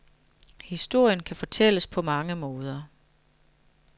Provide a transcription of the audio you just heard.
Historien kan fortælles på mange måder.